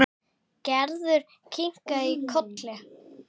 Gerður kinkaði kolli.